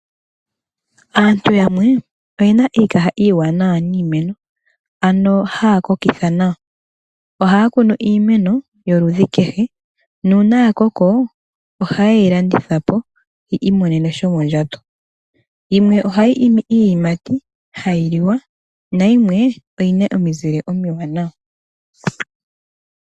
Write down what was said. Aantu yamwe oye na iikaha iiwaanawa niimeno ano haya kokitha nawa , ohaa kunu iimeno yoludhi kehe nuuna ya koko ohaye yi landitha po yiimonene sho mondjato, yimwe ohayi imi iiyimati hayi liwa na yimwe oyi na omizule omiwanawa.